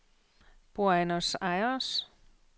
Buenos Aires